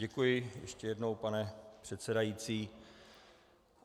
Děkuji ještě jednou, pane předsedající.